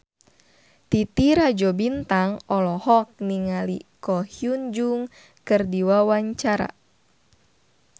Titi Rajo Bintang olohok ningali Ko Hyun Jung keur diwawancara